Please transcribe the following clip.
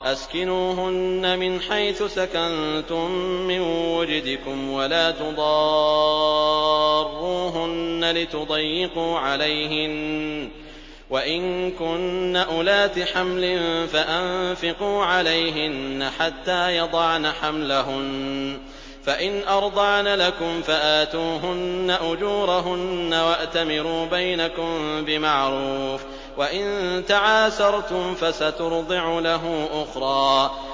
أَسْكِنُوهُنَّ مِنْ حَيْثُ سَكَنتُم مِّن وُجْدِكُمْ وَلَا تُضَارُّوهُنَّ لِتُضَيِّقُوا عَلَيْهِنَّ ۚ وَإِن كُنَّ أُولَاتِ حَمْلٍ فَأَنفِقُوا عَلَيْهِنَّ حَتَّىٰ يَضَعْنَ حَمْلَهُنَّ ۚ فَإِنْ أَرْضَعْنَ لَكُمْ فَآتُوهُنَّ أُجُورَهُنَّ ۖ وَأْتَمِرُوا بَيْنَكُم بِمَعْرُوفٍ ۖ وَإِن تَعَاسَرْتُمْ فَسَتُرْضِعُ لَهُ أُخْرَىٰ